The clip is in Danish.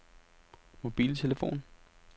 mobiltelefon